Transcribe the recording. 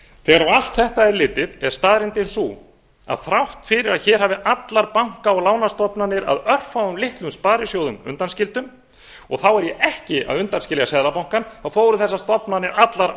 á allt þetta er litið er staðreyndin sú að þrátt fyrir að hér hafi allar banka og lánastofnanir að örfáum litlum sparisjóðum undanskildum og þá er ég ekki að undanskilja seðlabankann þá eru þessar stofnanir allar